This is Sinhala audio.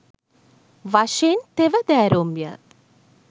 වශයෙන් තෙවැදෑරුම් ය.